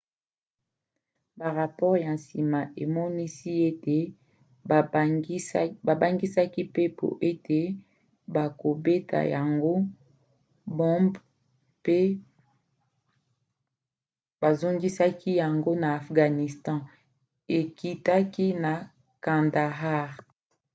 barapore ya nsima emonisi ete babangisaka mpepo ete bakobeta yango bombe mpe bazongisaki yango na afghanistan ekitaki na kandahar